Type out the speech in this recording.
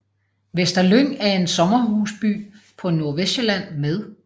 Vester Lyng er en sommerhusby på Nordvestsjælland med